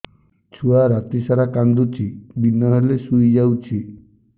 ଛୁଆ ରାତି ସାରା କାନ୍ଦୁଚି ଦିନ ହେଲେ ଶୁଇଯାଉଛି